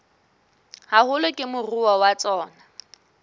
haholo ke moruo wa tsona